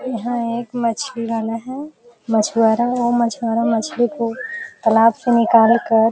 यहाँ एक मछली वाला है। मछुआरा वो मछुआरा मछली को तालाब से निकाल कर --